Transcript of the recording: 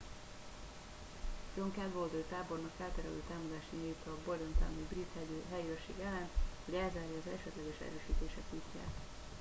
john cadwalder tábornok elterelő támadást indít a bordentowni brit helyőrség ellen hogy elzárja az esetleges erősítések útját